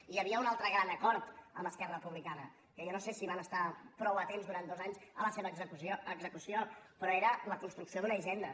i hi havia un altre gran acord amb esquerra republicana que jo no sé si van estar prou atents durant dos anys a la seva execució però era la construcció d’una hisenda